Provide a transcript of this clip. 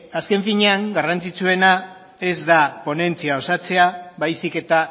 azken finean garrantzitsuena ez da ponentzia osatzea baizik eta